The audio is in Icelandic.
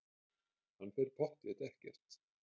Hann fer pottþétt ekkert.